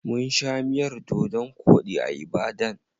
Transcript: Mun sha miyar dodon koɗi a Ibadan.